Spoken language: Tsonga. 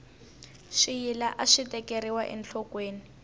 swiyila aswi tekeriwa enhlokweni